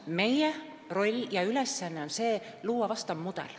Meie roll ja ülesanne on luua vastav mudel.